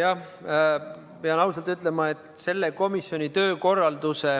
Jah, pean ausalt ütlema, et selle komisjoni töökorralduse